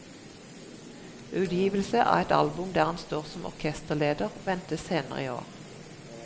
Utgivelse av et album der han står som orkesterleder, ventes senere i år.